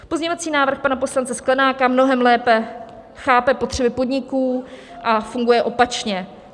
Pozměňovací návrh pana poslance Sklenáka mnohem lépe chápe potřeby podniků a funguje opačně.